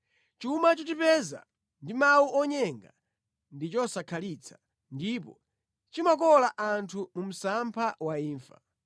Chuma chochipeza ndi mawu onyenga ndi chosakhalitsa ndipo chimakola anthu mu msampha wa imfa.